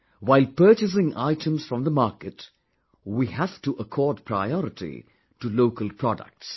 While purchasing items from the market, we have to accord priority to local products